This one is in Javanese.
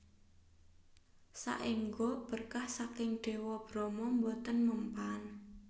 Saengga berkah saking Dewa Brahma boten mempan